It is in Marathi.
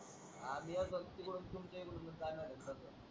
आम्ही येतो तिकडून तुमच्याकडूनच जाणार आहे तस.